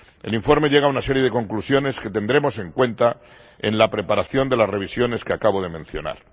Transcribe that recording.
El informe llega a una serie de conclusiones que tendremos en cuenta en la preparación de las revisiones que acabo de mencionar.